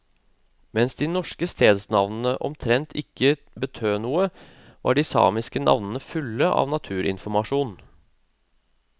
Mens de norske stedsnavnene omtrent ikke betød noe, var de samiske navnene fulle av naturinformasjon.